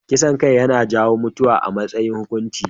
Kisan kai yana jawo mutuwa a matsayin hukunci.